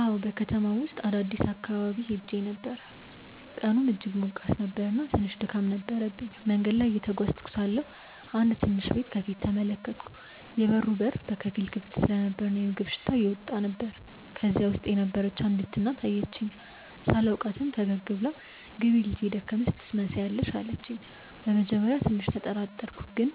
አዎን፣ በከተማው ውስጥ አዲስ አካባቢ ሄዼ ነበር፣ ቀኑም እጅግ ሞቃት ነበር እና ትንሽ ድካም ነበረብኝ። መንገድ ላይ እየተጓዝኩ ሳለሁ አንድ ትንሽ ቤት ከፊት ተመለከትኩ፤ የበሩ በር በከፊል ክፍት ነበር እና የምግብ ሽታ እየወጣ ነበር። ከዚያ በውስጥ የነበረች አንዲት እናት አየችኝ። ሳላውቃትም ፈገግ ብላ “ግቢ ልጄ፣ የደከመሽ ትመስያለሽ” አለችኝ። በመጀመሪያ ትንሽ ተጠራጠርኩ፣ ግን